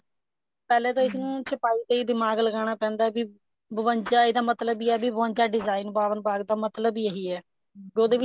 ਪਹਿਲਾਂ ਤਾਂ ਇਸ ਨੂੰ ਚਪਾਹੀ ਤੇ ਹੀ ਦਿਮਾਗ ਲਗਾਉਣਾ ਪੈਂਦਾ ਵੀ ਬਵੰਜਾ ਇਹਦਾ ਮਤਲਬ ਹੈ ਬਵੰਜਾ design ਬਾਵਣ ਬਾਗ ਦਾ ਮਤਲਬ ਹੀ ਇਹੀ ਹੈ ਉਹਦੇ ਵਿੱਚ